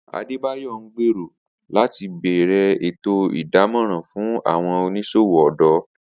Adebayor ngbero lati bẹrẹ eto idamọran fun awọn oniṣowo ọdọ.